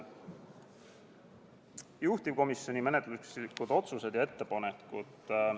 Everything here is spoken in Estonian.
Juhtivkomisjoni menetluslikud otsused ja ettepanekud.